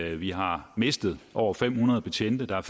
at vi har mistet over fem hundrede betjente der er